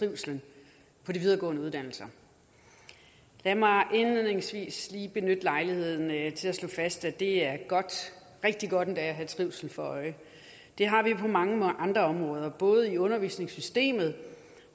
trivslen på de videregående uddannelser lad mig indledningsvis lige benytte lejligheden til at slå fast at det er godt rigtig godt endda at have trivsel for øje det har vi på mange andre områder både i undervisningssystemet